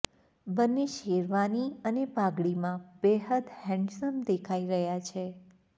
બંને શેરવાની અને પાઘડીમાં બેહદ હેન્ડસમ દેખાઈ રહ્યા છે